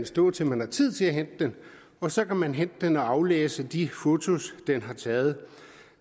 stå til man har tid til at hente den og så kan man hente den og aflæse de fotos den har taget